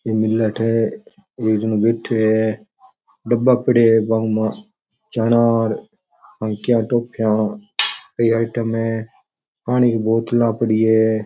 एक जनों बैठे है डब्बा पड़े है वामा चना और की आइटम है पानी की बोतला पड़ी है।